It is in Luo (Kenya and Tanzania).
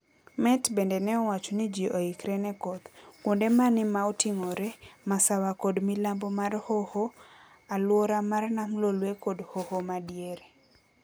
Met bende neowacho ni ji oikre ne koth. Kuonde mani maoting'ore, masawa kod milambo mar hoho, aluora mar nam Lolwe kod hoho madiere.